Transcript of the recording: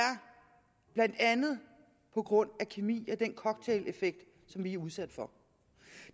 blandt andet på grund af kemi den cocktaileffekt som vi er udsat for